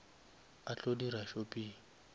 a tlo dira shopping